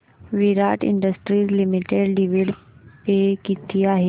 विराट industries limited dividend pay किती आहे